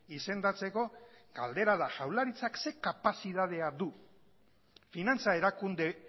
izendatzeko galdera da jaurlaritzak ze kapazitatea du finantza erakunde